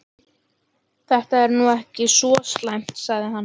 Þetta er nú ekki svo slæmt sagði hann.